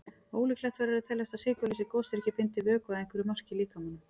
Ólíklegt verður að teljast að sykurlausir gosdrykkir bindi vökva að einhverju marki í líkamanum.